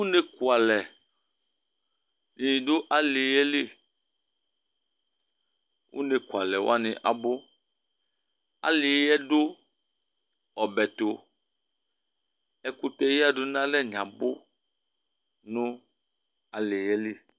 Ʋne kʋalɛ di du alí yɛ li Ʋne kʋalɛ wani abʋ Alí yɛ ɔdu ɔbɛ tu Ɛkʋtɛ yadu nʋ alɛ ni abʋ nʋ alìɛ li